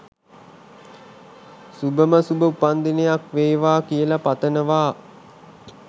සුබම සුබ උපන්දිනයක් වේවා කියල පතනවා